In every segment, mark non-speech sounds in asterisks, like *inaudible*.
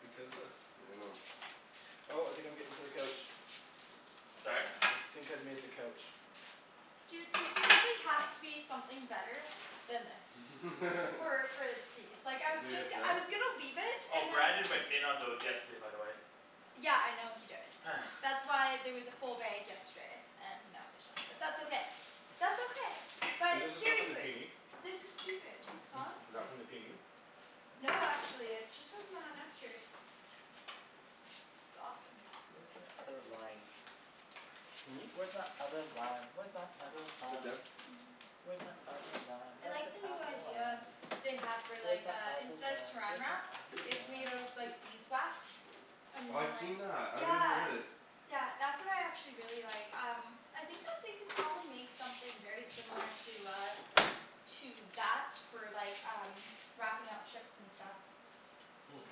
Because this I dunno. Oh I think I'm getting to the couch. Sorry? I think I've made the couch. Dude there seriously has to be something better than this. *inaudible* So *laughs* like I was Is it just I was gonna leave it Oh, and then *inaudible* Brandon went in on those yesterday by the way. Yeah I know he did, that's why there was a full bag yesterday and now there's not, but that's okay, that's okay, Is but this the stuff from the seriously, PNE? this is stupid. *noise* Huh? Is that from the PNE? No, actually, it's just from uh Nester's. It's awesome. Where's my other lime? Hm? Where's my other lime? Where's my other lime? Where's my other lime? I That's like an the new apple idea lime. they have for Where's like my uh other instead of lime? saran Where's my wrap other it's made out of lime? like beeswax. And Oh I've like, seen that, I really yeah. wanted it. Yeah that's what I actually really like um I think that they could probably make something very similar to uh To that for like um wrapping up chips and stuff. *noise*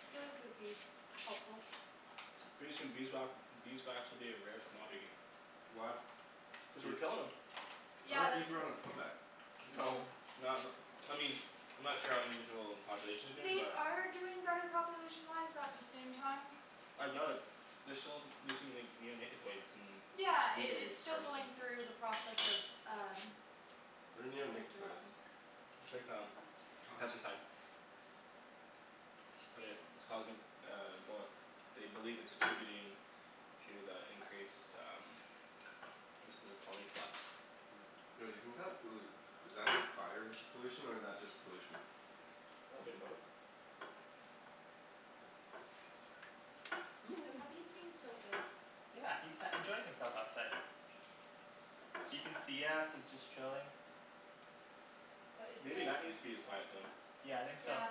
I feel like it would be helpful. Pretty soon beeswa- beeswax will be a rare commodity. Why? Cuz we're killin' 'em. I Yeah thought that's bees were on a a comeback. No, not n- I mean, I'm not sure how individual populations are doing They but are doing better population wise but at the same time I doubt it, they're still using like neonicotoids in Yeah, it blueberry it's still harvesting. going through the process of um What are like neonicotoids? development. It's like um, God pesticide But it it's causing um well they believe it's attributing to the increased um instances of colony collapse. Yo do you think that pollu- is that fire pollution or is that just pollution? Oh a bit of both. The *noise* puppy's being so good. Yeah, he's sat enjoying himself outside. He can see us, he's just chilling. But it's Maybe nice. that needs to be his quiet zone. Yeah, I think so. Yeah.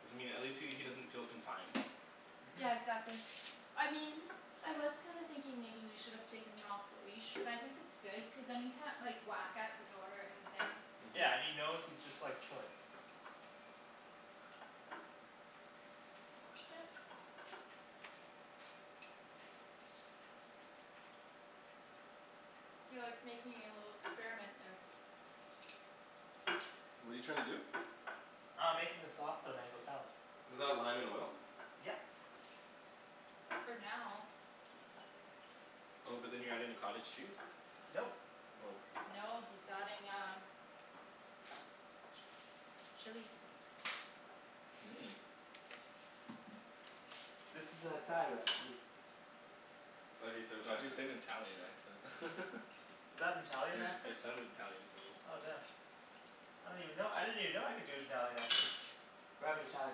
Doesn't mean at least he he doesn't feel confined. Yeah exactly, I mean I was kind of thinking maybe we should have taken him off the leash but I think it's good cuz then he can't like whack at the door or anything. Mhm Yeah, and he knows he's just like chilling. Yeah. You're like making a little experiment there. What're you trying to do? Uh I'm making the sauce for the mango salad. Is that lime and oil? Yep. For now Oh but then you're adding the cottage cheese? Nope. Oh No, he's adding um Chili Mmm This is a Thai recipe. I love how you say it with the Why'd you say accent. it in an Italian accent? *laughs* Is that an Italian *laughs* accent? It sounded Italian to me. Oh damn. I don't even know, I didn't even know I could do an Italian accent. We're having Thai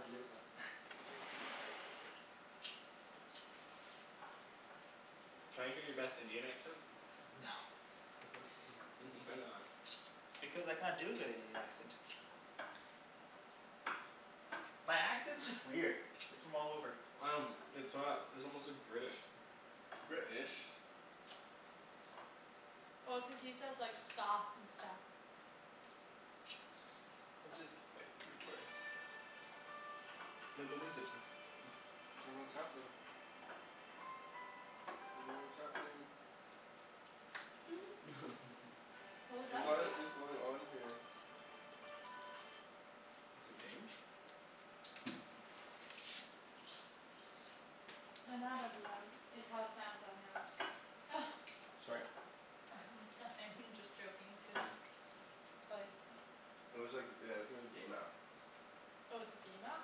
for dinner though. Can I hear your best Indian accent? No. *laughs* *laughs* why not? Because I can't do a good Indian accent. My accent's just weird, it's from all over. Um it's not, it's almost like British. British Well cuz he says like "skahf" and stuff. It's just like three words. No no music *noise* I don't know what's happening. Don't know what's happening. *noise* *laughs* What was that What about? is going on here? It's a game? No not everyone, it's how Samsung apps *laughs* Sorry? *noise* Nothing I'm just joking cuz *noise* Like It was like uh *noise* it was a game app. Oh it's a game app?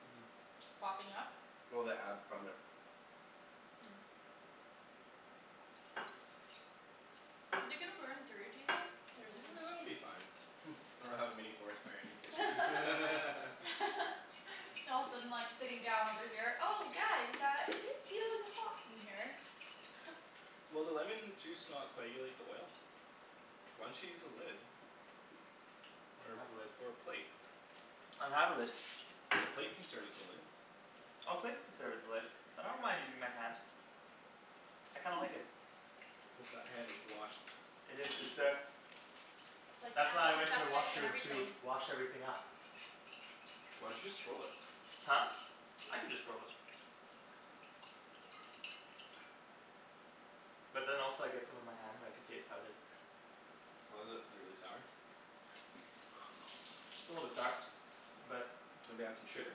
Mhm Popping up? Well, the ad from it. Is it gonna burn through, do you think? Or is it gonna *noise* s- It'll be fine *laughs* or we'll have a mini forest fire in your *laughs* kitchen *laughs* All of a sudden like sitting down over here, "Oh guys uh is it feeling hot in here?" *laughs* Will the lemon juice not coagulate the oil? Why don't you use a lid? I Or don't have a lid. a or a plate? I don't have a lid. The plate can serve as a lid. Oh plate could serve as a lid, but I don't mind using my hand. I kinda like *laughs* it. Hope that hand is washed. It is, good sir. Like That's why I went to the antiseptic and washroom to everything. wash everything up. Why'd you just throw it? Huh? I can just throw it. But then also I get some on my hand and I can taste how it is. How is it? Really sour. It's a little bit sour. But, Maybe add some shit sugar?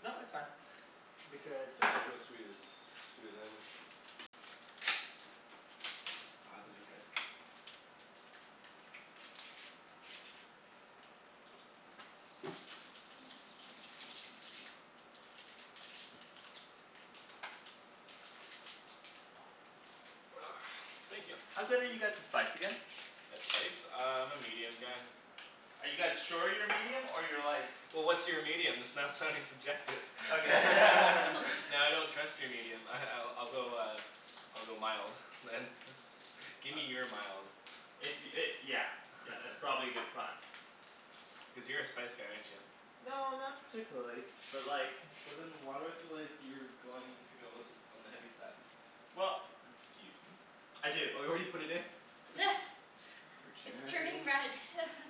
No, it's fine. Because The mango's sweet as, sweet as anything. God, those are good. *noise* Thank ya. How good are you guys with spice again? That spice? Uh I'm a medium guy. Are you guys sure you're medium or you're like Well what's your medium? That's not sounding subjective *laughs* Okay *laughs* Now I don't *laughs* trust your medium ah I I'll go uh I'll go mild, man. *laughs* Gimme your mild. If y- it yeah yeah that's probably a good *laughs* plan. Cuz you're a spice guy, aren't ya? No not particularly, but like But then why do I feel like you're going to go all th- on the heavy side? Well *noise* Excuse me? I do *noise* It's turning Arjan red *laughs*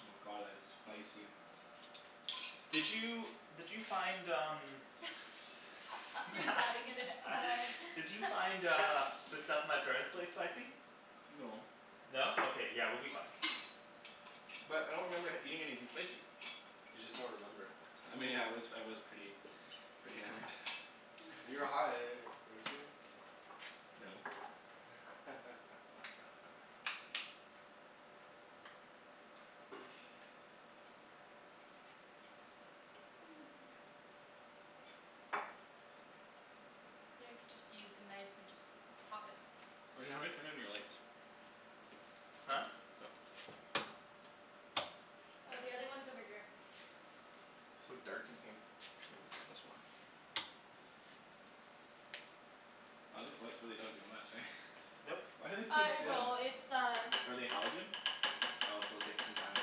Oh my god, that's spicy. Did you did you find um *laughs* He's adding in it more in Did you find uh the stuff at my parents' place spicy? No. No? Okay, yeah we'll be fine. But I don't remember eating anything spicy. You just don't remember. I mean I was I was pretty pretty hammered. You were high, weren't you? *laughs* *noise* *noise* You know you could just use a knife and just pop it. Arjan, how do I turn on your lights? Huh? Hmm? Yeah. Oh, the other one's over here. So dark in here. Maybe we'll turn this one on. Aw these lights don't really do much eh? Nope. Why are they so Uh it dim? will, it's uh Are they halogen? Oh so it'll take some time to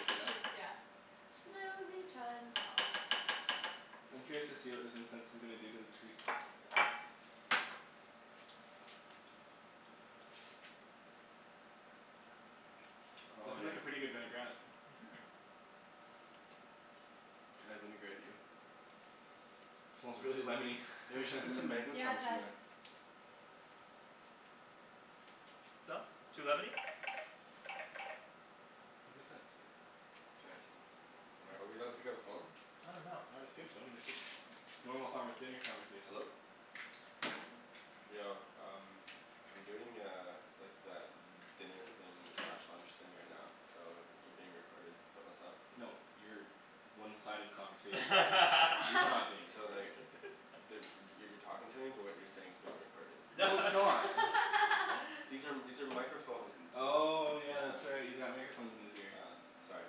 heat up? just yeah, slowly turns on. I'm curious to see what this incense is gonna do to the tree. It's Oh lookin' yeah. like a pretty good vinaigrette. *noise* Mhm Can I vinaigrette you? Smells really lemony Yo, you should put some Mm, *laughs* mango yeah it chunks in does. there. So? Too lemony? Who's that? *inaudible* Am I, are we allowed to pick up the phone? I dunno. I would assume so, they said *noise* normal conver- dinner conversation. Hello? *noise* Yo, um I'm doing uh like that dinner thing slash lunch thing right now so you're being recorded but what's up? No, your one-sided conversation is being recorded. He's not *laughs* *laughs* being So recorded. like *noise* you're talking to me but what you're saying is being recorded. No *laughs* No it's not. *noise* *laughs* These are these are microphone Oh yeah, that's Yeah. right, he's got microphones in his ear. Yeah, sorry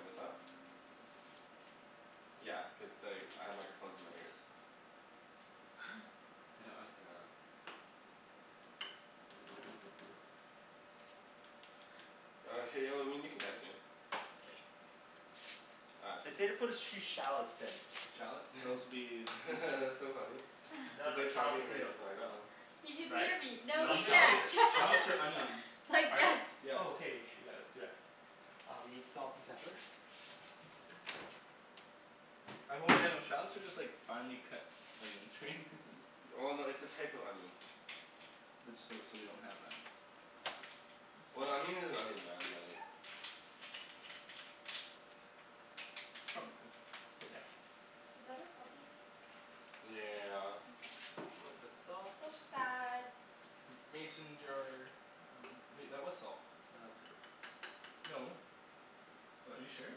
what's up? Yeah, cuz like I have microphones in my ears. *laughs* *noise* Oh hey y- well I mean you can text me. All right, They peace. say to put a sh- few shallots in. Shallots? Those'll be *laughs* That's so *inaudible* funny No, he's no like shallot talking right potatoes. to the Oh microphone. He can Right? hear me, But no No, I'm he gonna shallots skip can't it. *laughs* I'm gonna shallots are skip the shop. onions. it's like Are they? yes Yes. Oh okay, you should, yeah let's do that. I'll be salt and pepper. I hope they don't, shallots are just like finely cut onions right? *laughs* Well no, it's a type of onion. Which, so so we don't have that. That's Well an fine. onion is an onion man, like It's not a big deal. Yeah. Was that our puppy? Yeah. Little bit of salt. So sad. Mason jar. Wait, that was salt. No, that's pepper. No. What, are you sure?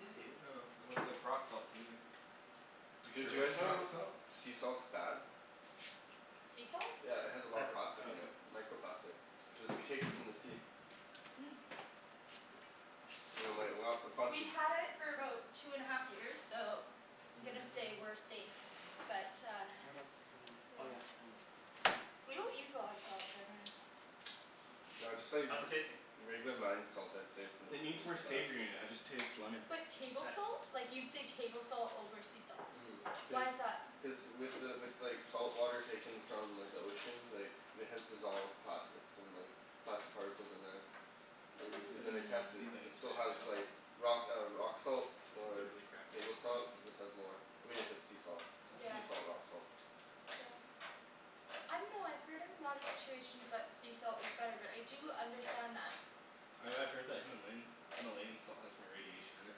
Yeah, dude. Oh, it looked like rock salt to me. You're sure Did it you guys wasn't rock know salt? sea salt's bad? Sea salt? Yeah it has a lot of Pepper. plastic Oh, in okay. it. Microplastic. Cuz it's taken from the sea. Mm. And like a lot a bunch We've of had it for about two and a half years, so I'm gonna say we're *noise* safe, but uh What else do I need? Oh Yep. yeah, onions. We don't use a lot of salt generally. No I just thought you'd How's v- it tasting? regular mined salt I'd say from the, It needs is more the best. savory in it. I just taste lemon. But table Mkay. salt? Like you'd say table salt over sea salt. Mhm. Cuz Why is that? Cuz with the with like salt water taken from like the ocean like it has dissolved plastics and like plastic particles in there. They This then they tested it. these Mmm. It onions might still has need help. like rock uh rock salt This is a or really crappy table knife you're salt. using. This has more. I mean if it's sea salt, Yeah. Okay sea salt rock salt. Yeah. I dunno, I've heard in a lot of situations that sea salt is better, but I do understand that. I I've heard that Himalayan Himalayan salt has more radiation in it.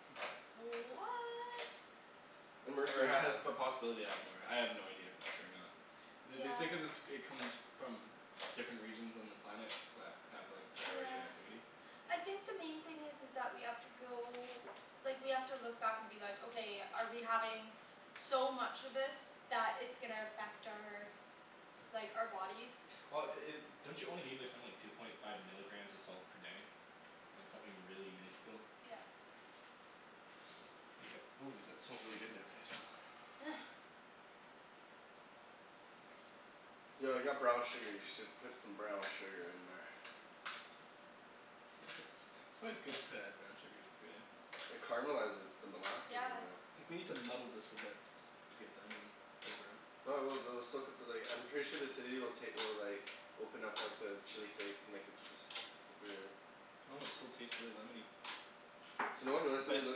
*noise* What! And Or it mercury and ha- has stuff. the possibility to have more. I have no idea if it's true or not. Th- they say Yeah. cuz it's it comes from different regions on the planet that have like higher Yeah. radioactivity. I think the main thing is is that we have to go, like we have to look back and be like "Okay, are we having so much of this that it's gonna affect our like, our bodies?" Well i- i- don't you only need like something like two point five milligrams of salt per day? Like something really minuscule? Yep. Ooh, that smells really good now, can I smell? *noise* *noise* Yo I got brown sugar. You should put some brown sugar in there. It's always good to add brown sugar to food, eh? It caramelizes. It's the molasses Yeah. in there. I think we need to muddle this a bit to get the onion flavor out. No I will, they'll still cut the like, I'm sure the acidity will take will like open up like the chili flakes and make it super s- super Well, it still tastes really lemony. So no one realized that But we it's look.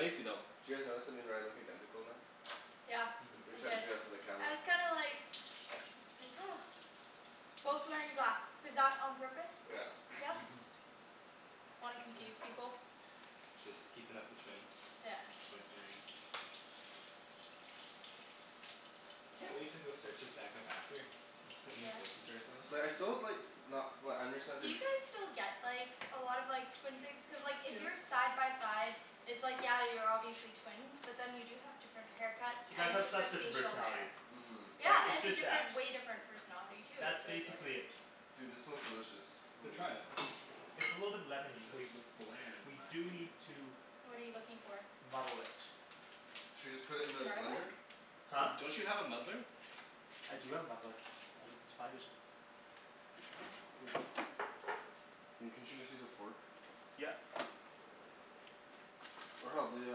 Did though. you guys notice that me and Ryan look identical now? Yeah We I Mhm. tried to did. do that for the camera. I was kinda like Like *noise* Both wearing black. Was that on purpose? Yeah. Yeah? Mhm. Wanna confuse people? Just keepin' up the twin Yeah. Twin thing. I can't wait to go search us back up after *laughs* and just Yes. listen to ourselves. So like I still have like not flat understand Do their you guys still get like a lot of like twin things? Cuz like if Yeah. you're side by side it's like, yeah you're obviously twins, but then you do have different haircuts You guys and have such different different facial personalities. hair. Mhm. Yeah, Like, it's and just that different, way different personality too, That's so it's like basically it. Dude, this smells delicious No, try it. *noise* *laughs* It's a little bit lemony, so we It's it's bland in We my do opinion. need to What are you looking for? muddle it. Should we just put it in the blender? Garlic? D- Huh? don't you have a muddler? I do have a muddler. I just need to find it I mean, couldn't you just use a fork? Yep. Or hell, the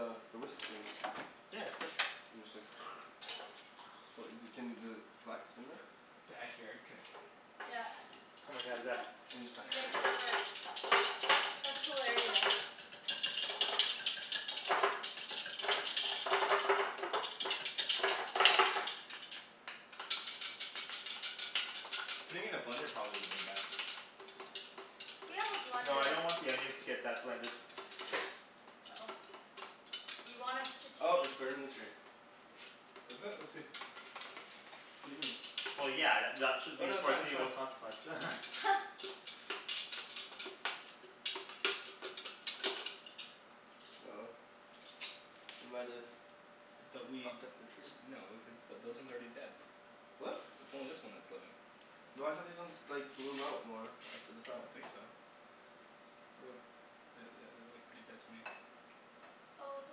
uh the whisk thing. Yeah, that's good. Then you just like *noise* So wh- y- d- can you does it, flax in there? Backyard cooking. Yeah Oh my god, yes. *laughs* And just He makes it work. like *noise* That's hilarious. Putting it in a blender probably woulda been best. We have a No, I blender. don't want the onions to get that blended. Oh. You want us to Oh it's taste burning the tree. Is it? Let's see. What do you mean? Well yeah, th- y- at should Oh be the no, that's fine, that's foreseeable fine. consequence *laughs* *laughs* Uh oh. We might've fucked up the tree. No, cuz th- those ones are already dead. It's What? it's only this one that's living. No I thought these ones like bloom out more after the I fact. don't think so. *noise* The- the- they look pretty dead to me. Oh the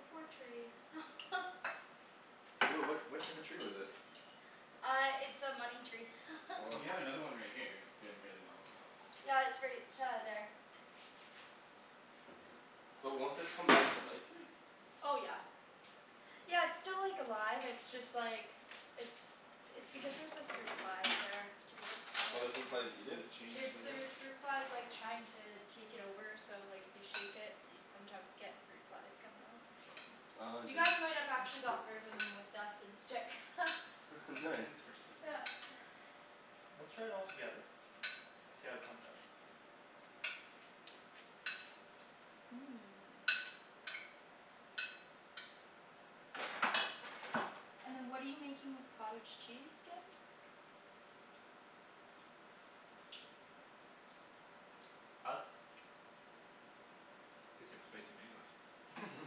poor tree *laughs* What what what type of tree was it? Uh it's a money tree *laughs* Well, you have *noise* another one right here that's doing really well, so. Yeah, it's right uh there. But won't this come back to life here? Oh yeah. Yeah it's still like alive, it's just like it's it's because there's like fruit flies there too, so Oh the fruit kinda flies eat Did it? it change There flavor? there's fruit flies like trying to take it over so like if you shake it you sometimes get fruit flies coming out *laughs* Oh You dude. guys might have actually got rid of them with that scent stick *laughs* I think we *laughs* still Nice. need some more seafood. Yeah *noise* Let's try it all together and see how it comes out. Mmm. And then what are you making with cottage cheese, again? Thoughts? Tastes like spicy mangoes. *noise*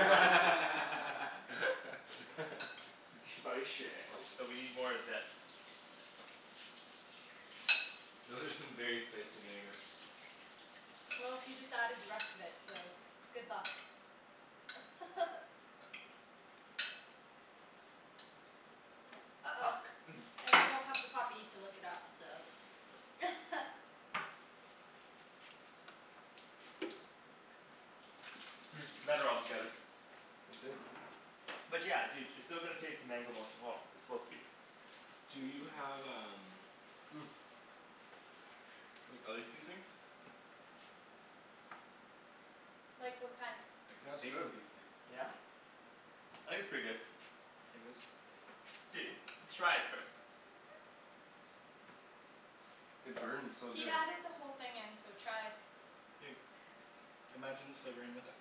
*laughs* *laughs* Spicy. So we need more of this. Those are some very spicy mangoes. Well, he just added the rest of it, so good luck. *laughs* Uh oh, Fuck. *noise* and we don't have the puppy to lick it up so *laughs* Hmm, better all together. Let's see it. But yeah, dude, you're still going to taste the mango most of all. It's supposed to be Do you have um *noise* like other seasonings? Like what kind? Like a That's steak good. seasoning. Yeah. I think it's pretty good. Like this. Dude, try it first. It burns so He good. added the whole thing in, so try. Dude. Imagine slivering with it.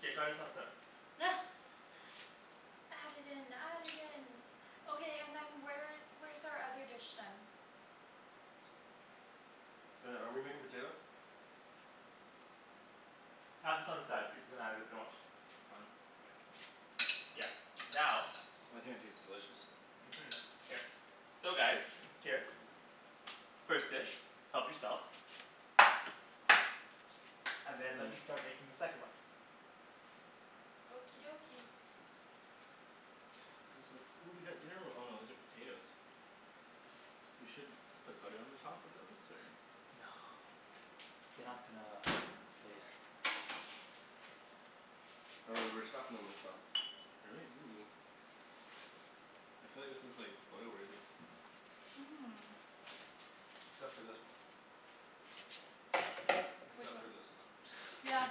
K, try this on its own. *laughs* Add it in, add it in. Okay, and then where where's our other dish then? Oh yeah, are we making potato? Have this on the side, people can have it if they want. Fine. Yeah. Now I think it tastes delicious. Mhm. Here. So guys, here. First dish, help yourselves. And then let me Mmm. start making the second one. Okie dokie. These look ooh we got dinner ro- oh no those are potatoes. We should put butter on the top of those or? No They're not gonna stay there. Oh right, we're stuffin' 'em with stuff. Are we? Ooh. I feel like this is like photo-worthy. Mmm. Except for this one. Hmm? Which Except one? for this one. *laughs* Yeah.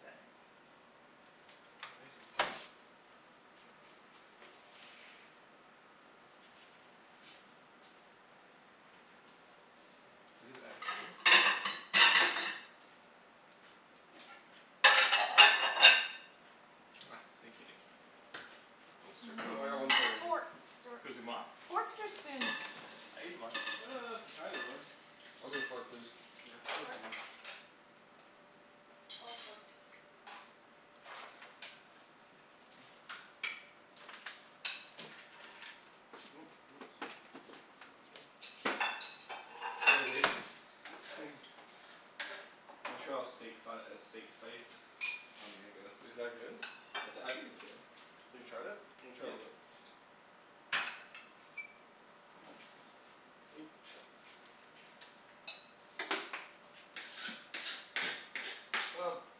K. They're nice and soft. Is this Epicurious? Here. Ah, thank you Nikki. I most *noise* I certainly got one Hmm, fork right here. forks or excusez-moi. Forks or spoons? I ate the one. Uh, either one. I'll take a fork please. Yeah, fork for Fork me. Fork, fork. *noise* *noise* gonna get some of that. Montreal steak si- uh steak spice on mango. Is that good? I t- I think it's good. Have you tried it? Let me try a Yeah. little bit. Ooh, shit. *noise*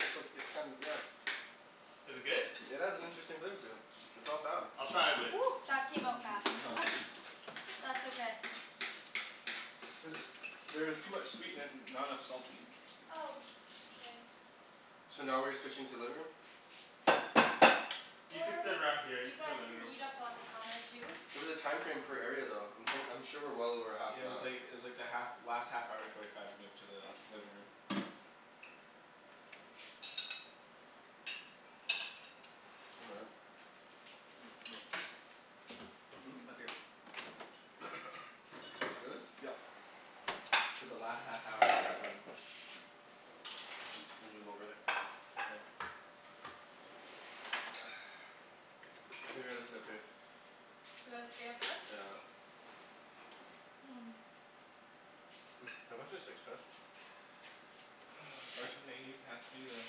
It's ok- it's kinda, yeah. Is it good? *noise* It has an interesting flavor to it. It's not bad. I'll try it with *noise* that came out fast *laughs* *laughs* That's okay. There's there is too much sweet in it and not enough salty. Oh, k. So now we're switching to living room? You could Or sit around here, you you could go guys living can room. eat up on the counter too. It was a time frame per area though. I'm thin- I'm sure we're well over half Yeah it an was hour. like it was like the half last half hour forty five move to the living room. All right. *noise* Hmm? Hmm? Mmm. Up here. *noise* Really? Yep. I said the last half hour *inaudible* M- move over there. Oh. *noise* I think we gotta sit up here. We gotta stay up here? Yeah. Mmm *noise* Can you pass me the steak spice? *noise* Arjan may you pass me the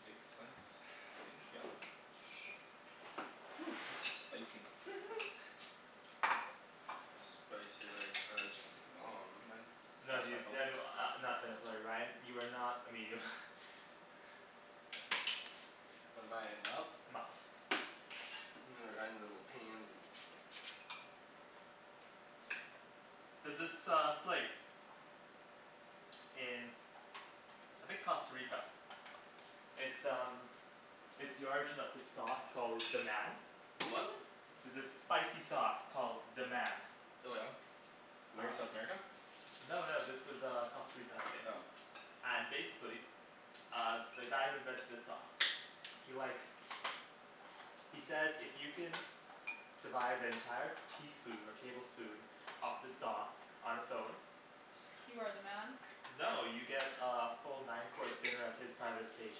steak slice? Thank ya. *noise* This is spicy. Spicy like Arjan's mom. Mind No passing my dude. phone? Daniel, uh not Daniel, sorry Ryan, you are not a medium. *laughs* What am I, a mild? A mild. *laughs* Ryan's a little pansy. There's this uh place. in I think Costa Rica. It's um It's the origin of this sauce called "Deman" The what? *laughs* There's this spicy sauce called "Deman" Oh yeah? Where? South America? No no, this was uh Costa Rica I think. Oh. And basically uh the guy who invented the sauce he like he says if you can survive an entire teaspoon or tablespoon of the sauce on its own You are the man? No, you get uh a full nine course dinner at his private estate.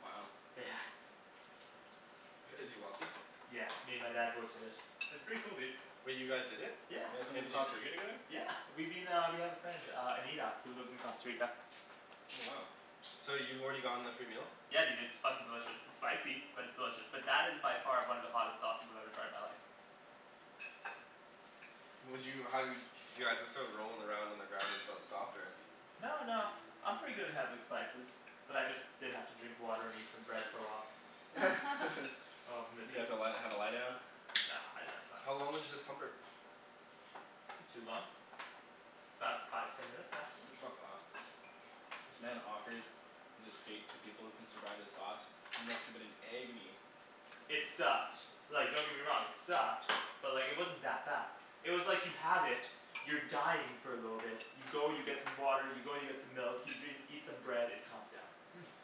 Wow. Yeah. *noise* Is he wealthy? Yeah, me and my dad both did it. It's pretty cool, dude. Wait, you guys did it? Yeah. You guys went to And the did you Costa Rica j- together? Yeah we've been uh, we have a friend uh Anita who lives in Costa Rica. Oh wow. So you've already gotten the free meal? Yeah dude, it's fucking delicious. It's spicy, but it's delicious. But that is by far one of the hottest sauces I've ever tried in my life. Would you, how, do you, do you guys just start rolling around on the ground until it stopped or No no, I'm pretty good *inaudible* good spices. But I just did have to drink water and eat some bread for a while. *laughs* *laughs* Oh You had to *inaudible* li- have a lie down? No no it's How fine. long was the discomfort? Not too long. 'bout five, ten minutes maximum. Fuck off. This man offers his estate to people who can survive the sauce. You must've been in agony. It sucked, like don't get me wrong, it sucked. But like it wasn't that bad. It was like you have it, you're dying for a little bit, you go you get some water, you go you get some milk, you dr- eat some bread, it calms down. *noise*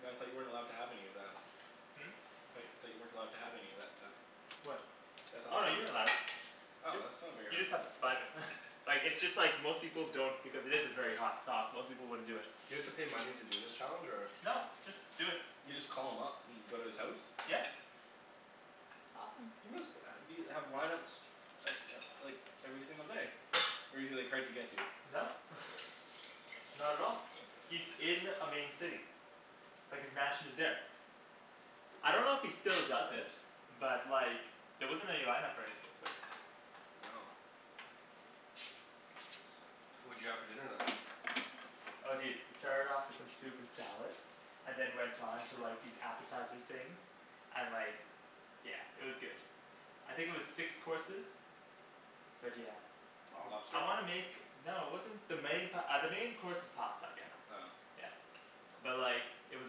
But I thought you weren't allowed to have any of that. Hmm? Tho- thought you weren't allowed to have any of that stuff. What? See, I thought the Oh no, point you're was allowed. Oh Y- that's not a very you hard *inaudible* just have to then survive it. *laughs* Like, it's just like most people don't because it is a very hot sauce, most people wouldn't do it. You have to pay money to do this challenge or? No, just do it. You just call him up and go to his house? Yeah. That's awesome. He must uh be, have lineups uh uh like every single day. Or is he like hard to get to? No. *laughs* Not at all. He's in a main city. Like his mansion is there. I don't know if he still does it. But like there wasn't any lineup or anything of the sort. Wow. What'd you have for dinner then? Oh dude, it started off with some soup and salad and then went on to like these appetizer things. And like Yeah, it was good. I think it was six courses. But yeah. Wow. I Lobster? wanna make... No it wasn't the main pa- uh the main course was pasta again. Oh. Yeah. But like it was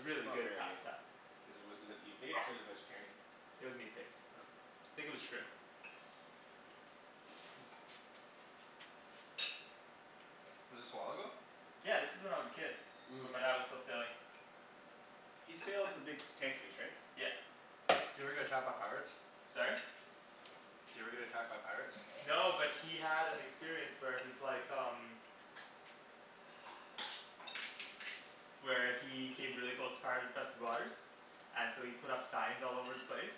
It's not good very pasta. Is it wi- is it meat-based or is it vegetarian? It was meat based. Oh. Think it was shrimp. *noise* Was this a while ago? Yeah, this was when I was a kid. Mmm. When my dad was still sailing. He sailed the big tankers right? Yeah. Did he ever get attacked by pirates? Sorry? Did he ever get attacked by pirates? No, but he had an experience where he's like um Where he hid really close to pirate infested waters And so he put up signs all over the place.